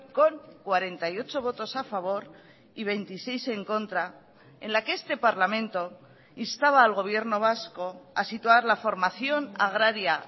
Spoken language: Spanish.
con cuarenta y ocho votos a favor y veintiséis en contra en la que este parlamento instaba al gobierno vasco a situar la formación agraria